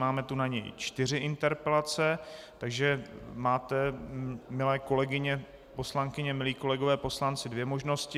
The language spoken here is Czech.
Máme tu na něj čtyři interpelace, takže máte, milé kolegyně poslankyně, milí kolegové poslanci, dvě možnosti.